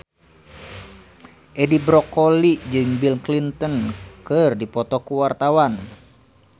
Edi Brokoli jeung Bill Clinton keur dipoto ku wartawan